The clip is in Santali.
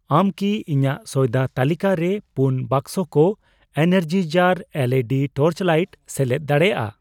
ᱟᱢ ᱠᱤ ᱤᱧᱟᱜ ᱥᱚᱭᱫᱟ ᱛᱟᱹᱞᱤᱠᱟᱨᱮ ᱯᱩᱱ ᱵᱟᱠᱥᱚ ᱠᱚ ᱮᱱᱟᱨᱡᱤᱡᱟᱨ ᱮᱞᱹᱤᱹᱰᱤ ᱴᱚᱨᱪᱞᱟᱹᱭᱤᱴ ᱥᱮᱞᱮᱫ ᱫᱟᱲᱮᱭᱟᱜᱼᱟ ?